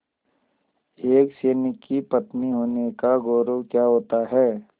एक सैनिक की पत्नी होने का गौरव क्या होता है